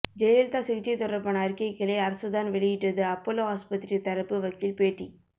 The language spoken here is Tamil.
ஜெயலலிதா சிகிச்சை தொடர்பான அறிக்கைகளை அரசு தான் வெளியிட்டது அப்பல்லோ ஆஸ்பத்திரி தரப்பு வக்கீல் பேட்டி